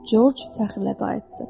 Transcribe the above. Corc fəxrlə qayıtdı: